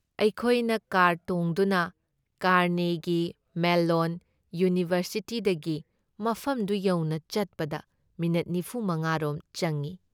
ꯑꯩꯈꯣꯏꯅ ꯀꯥꯔ ꯇꯣꯡꯗꯨꯅ Carnegie Mellon ꯏꯌꯨꯅꯤꯚꯔꯁꯤꯇꯤꯗꯒꯤ ꯃꯐꯝꯗꯨ ꯌꯧꯅ ꯆꯠꯄꯗ ꯃꯤꯅꯤꯠ ꯅꯤꯐꯨ ꯃꯉꯥ ꯔꯣꯝ ꯆꯪꯏ ꯫